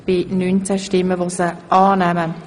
Sie haben die Initiative abgelehnt.